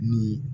Ni